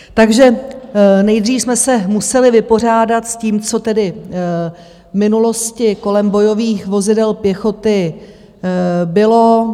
Takže nejdřív jsme se museli vypořádat s tím, co tedy v minulosti kolem bojových vozidel pěchoty bylo.